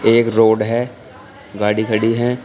एक रोड है गाड़ी खड़ी है।